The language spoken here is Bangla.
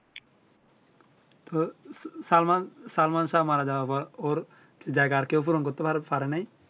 তো সালমান সালমান শাহ মারা যাওয়ার পর ওর জায়গা আর কেও পূরণ করতে পারে নাই?